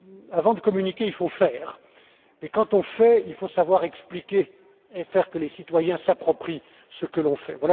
Avant de communiquer, il faut faire et quand on fait, il faut savoir expliquer et faire en sorte que les citoyens s'approprient ce que l'on fait.